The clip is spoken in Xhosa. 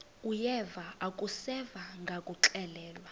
uyeva akuseva ngakuxelelwa